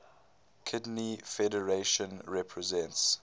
kidney federation represents